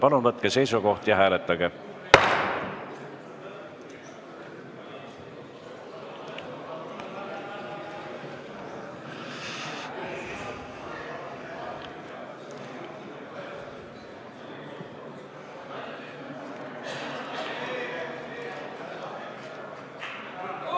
Palun võtke seisukoht ja hääletage!